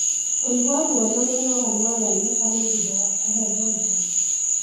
Kũigua ruo na mĩnoga no yonekane thutha wa kũheo janjo.